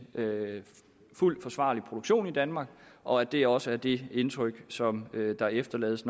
fuldt forsvarlig produktion i danmark og at det også er det indtryk som der efterlades